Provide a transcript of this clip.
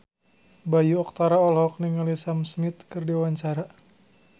Bayu Octara olohok ningali Sam Smith keur diwawancara